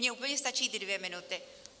Mně úplně stačí ty dvě minuty.